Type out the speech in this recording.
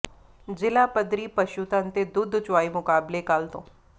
ਜ਼ਿਲ੍ਹਾ ਪੱਧਰੀ ਪਸ਼ੂਧਨ ਤੇ ਦੁੱਧ ਚੁਆਈ ਮੁਕਾਬਲੇ ਕੱਲ੍ਹ ਤੋਂ